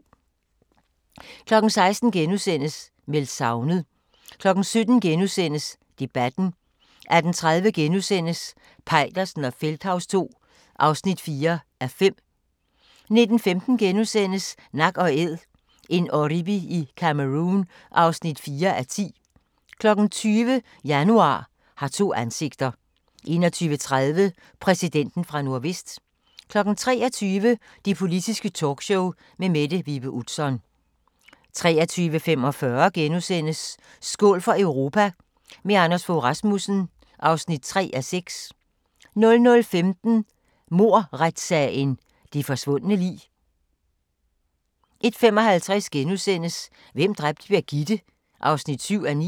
16:00: Meldt savnet * 17:00: Debatten * 18:30: Peitersen og Feldthaus II (4:5)* 19:15: Nak & Æd – en oribi i Cameroun (4:10)* 20:00: Januar har to ansigter 21:30: Præsidenten fra Nordvest 23:00: Det Politiske Talkshow med Mette Vibe Utzon 23:45: Skål for Europa – med Anders Fogh Rasmussen (3:6)* 00:15: Mordretssagen – det forsvundne lig 01:55: Hvem dræbte Birgitte? (7:9)*